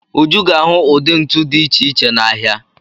Uju ga-ahụ ụdị ntu dị iche iche n'ahịa.